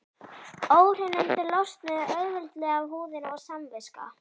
Óhreinindin losnuðu auðveldlega af húðinni og samviska